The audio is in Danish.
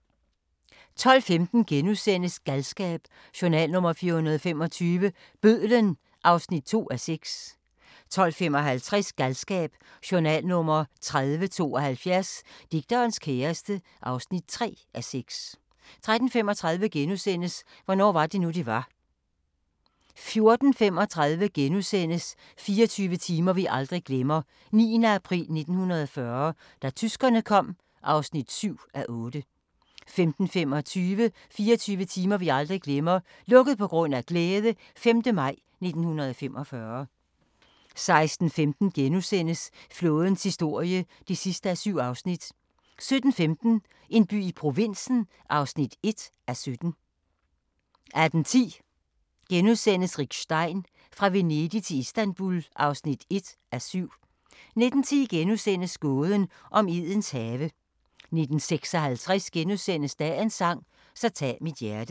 12:15: Galskab: Journal nr. 425 – Bødlen (2:6)* 12:55: Galskab: Journal nr. 3072 - Digterens kæreste (3:6) 13:35: Hvornår var det nu, det var? * 14:35: 24 timer vi aldrig glemmer: 9. april 1940 – da tyskerne kom (7:8)* 15:25: 24 timer vi aldrig glemmer - "Lukket på grund af glæde" - 5. maj 1945 16:15: Flådens historie (7:7)* 17:15: En by i provinsen (1:17) 18:10: Rick Stein: Fra Venedig til Istanbul (1:7)* 19:10: Gåden om Edens have * 19:56: Dagens sang: Så tag mit hjerte *